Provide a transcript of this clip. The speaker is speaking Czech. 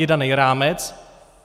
Je daný rámec.